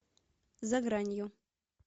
за гранью